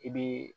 I bɛ